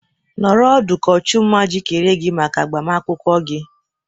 Nọrọ ọdụ ka ọchụmma jikere gị maka agbamakwụkwọ gị!